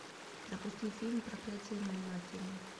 запусти фильм проклятие моей матери